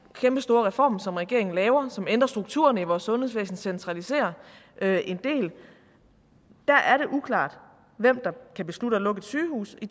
kæmpestore reform som regeringen laver og som ændrer strukturerne i vores sundhedsvæsen og centraliserer en del er det uklart hvem der kan beslutte at lukke et sygehus i